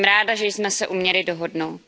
Jsem ráda, že jsme se uměli dohodnout.